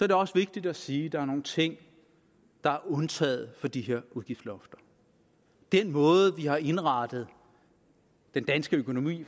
det også vigtigt at sige at der er nogle ting der er undtaget for de her udgiftslofter den måde vi har indrettet den danske økonomi